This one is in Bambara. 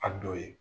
A dɔ ye